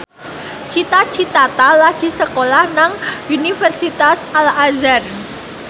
Cita Citata lagi sekolah nang Universitas Al Azhar